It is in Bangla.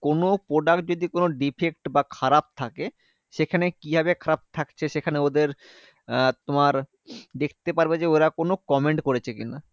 কোনো product যদি কোনো defect বা খারাপ থাকে, সেখানে কিভাবে খারাপ থাকছে? সেখানে ওদের আহ তোমার দেখতে পারবে যে, ওরা কোনো comment করেছে কি না?